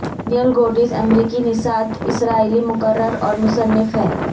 Daniel Gordis امریکی نژاد اسرائیلی مقرر اور مصنف ہیں